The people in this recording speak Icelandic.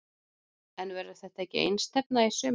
En verður þetta ekki einstefna í sumar?